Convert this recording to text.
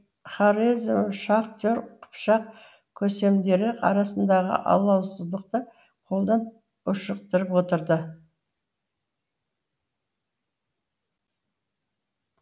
хорезмшахтер қыпшақ көсемдері арасындағы алауыздықты қолдан ушықтырып отырды